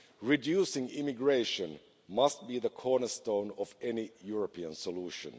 Reducing immigration must be the cornerstone of any European solution.